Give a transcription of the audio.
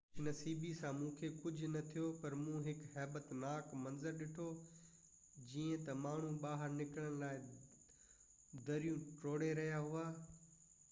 خوش نصيبي سان مونکي ڪجهہ نہ ٿيو پر مون هڪ هيبتناڪ منظر ڏٺو جيئن تہ ماڻهو ٻاهر نڪرڻ لاءِ دريون ٽوڙهي رهيا هئا